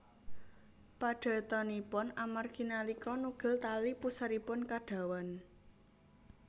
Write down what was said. Padatanipun amargi nalika nugel tali puseripun kedawan